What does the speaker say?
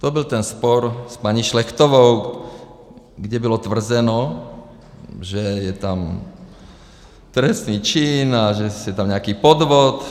To byl ten spor s paní Šlechtovou, kdy bylo tvrzeno, že je tam trestný čin a že je tam nějaký podvod.